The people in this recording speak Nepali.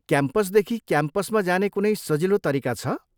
क्याम्पसदेखि क्याम्पसमा जाने कुनै सजिलो तरिका छ?